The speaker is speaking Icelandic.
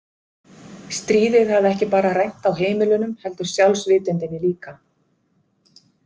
Stríðið hafði ekki bara rænt þá heimilunum, heldur sjálfsvitundinni líka.